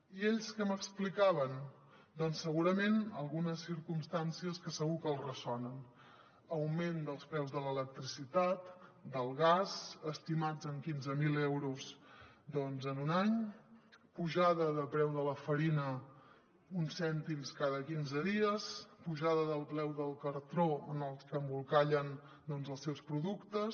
i ells què m’explicaven doncs segurament algunes circumstàncies que segur que els ressonen augment dels preus de l’electricitat del gas estimats en quinze mil euros en un any pujada de preu de la farina uns cèntims cada quinze dies pujada del preu del cartró amb el que embolcallen els seus productes